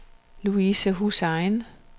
Louise Hussain